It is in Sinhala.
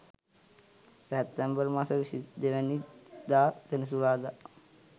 සැප්තැම්බර් මස 22 වැනි දා සෙනසුරාදා